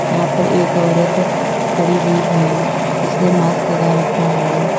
यहां पर एक औरत खड़ी हुई है जिसने मास्क लगा रखा है।